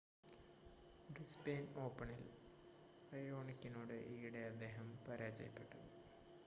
Brisbane ഓപ്പണിൽ റയോണിക്കിനോട് ഈയിടെ അദ്ദേഹം പരാജയപ്പെട്ടു